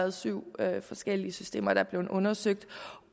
og syv forskellige systemer er blevet undersøgt